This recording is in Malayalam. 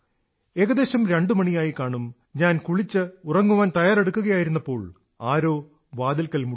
ഏകദേശം രണ്ടുമണിയായിക്കാണും ഞാൻ ഉറങ്ങാൻ തയ്യാറെടുക്കുകവേ ആരോ വാതിൽക്കൽ മുട്ടി